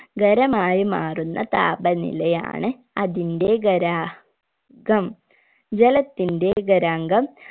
ഖരമായി മാറുന്ന താപനിലയാണ് അതിന്റെ ഖരാ ഘം ജലത്തിന്റെ ഖരാഗം